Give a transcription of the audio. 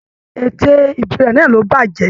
Ète íbí rẹ náà ló bàjẹ́.